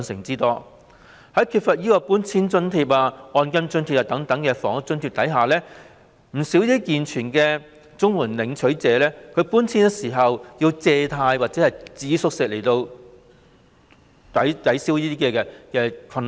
在缺乏搬遷津貼和按金津貼等房屋津貼的情況下，不少健全的綜援領取者在搬遷時須以借貸或節衣縮食來解決財政困難。